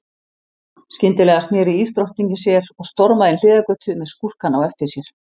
Skyndilega sneri ísdrottningin sér og stormaði inn hliðargötu með skúrkana á eftir sér.